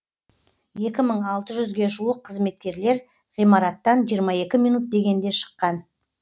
екі мың алты жүзге жуық қызметкерлер ғимараттан жиырма екі минут дегенде шыққан